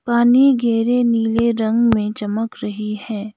पानी गेहरे नीले रंग में चमक रही है।